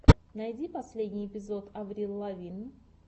найди последний эпизод аврил лавин